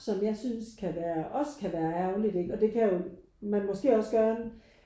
Som jeg synes kan være også kan være ærgerligt ikke og det kan jo man måske også gøre